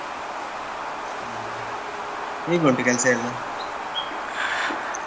ಹೌದಾ ಹೇಗ್ ಉಂಟ್ ಕೆಲ್ಸ ಎಲ್ಲಾ?